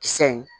Kisɛ